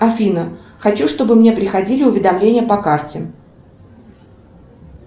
афина хочу чтобы мне приходили уведомления по карте